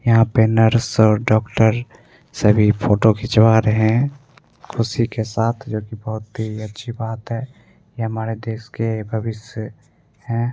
यहाँ पर नर्स और डॉक्टर सभी फोटो खिचवा रहे है खुशी के साथ जो कि बहुत ही अच्छी बात है ये हमारे देश के भविष्य हैं।